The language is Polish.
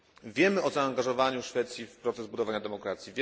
Wiemy o zaangażowaniu Szwecji w proces budowania demokracji.